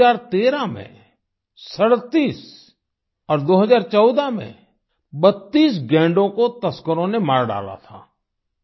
वर्ष 2013 में 37 और 2014 में 32 गैंडों को तस्करों ने मार डाला था